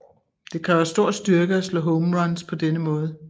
Det kræver stor styrke at slå home runs på denne måde